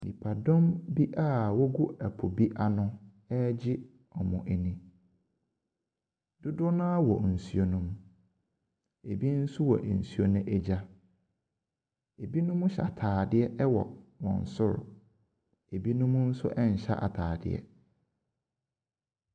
Nipadom bia egu ɛpo bi ano ɔregye wɔn ani. Dodoɔ naa wɔ nsuo ne mu. Ebi nso wɔ nsuo no ɛgya. Ebinom hyɛ ataadeɛ wɔ wɔn soro. ebinom nso ɛnhyɛ ataadeɛ.